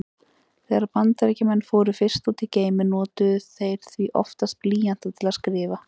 Þegar Bandaríkjamenn fóru fyrst út í geiminn notuðu þeir því oftast blýanta til að skrifa.